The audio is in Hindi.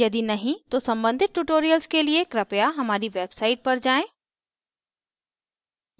यदि नहीं तो सम्बंधित tutorials के लिए कृपया हमारी website पर जाएँ